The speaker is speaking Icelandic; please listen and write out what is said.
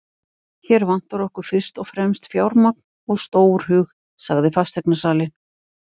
Hér vantar okkur fyrst og fremst fjármagn og stórhug, sagði fasteignasalinn.